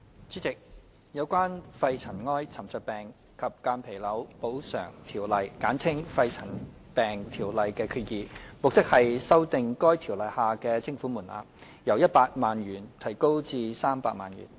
主席，有關《肺塵埃沉着病及間皮瘤條例》的決議，目的是修訂《條例》下的徵款門檻，由100萬元提高至300萬元。